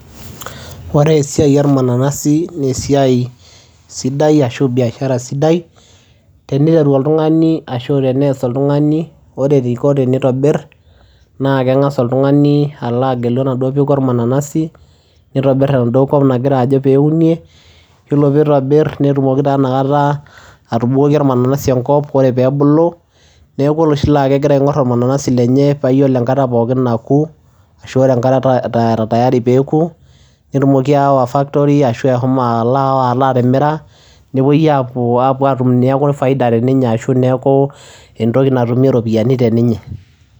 Ore esiai ormananasi nee esiai sidai ashu biashara sidai teniteru oltung'ani ashu tenees oltung'ani. Ore eniko tenitobir naa keng'asa oltung'ani alo agelu enaduo peku olmananasi, nitobi eaduo kop nagira ajo peeunie. Iyiolo piitobir netumoki taa inakata atubukoki ormananasi enkop, ore peebulu neeku oloshi laake egira aing'or ormananasi lenye paa iyiolo enkata naaku ashu ore enkata tayari peeku netumoki ayawa factory ashu ashomo alo aawa alo atimira, nepuoi aapuo aapuo aatum neeku faida teninye ashu neeku entoki natumi iropiani teninye.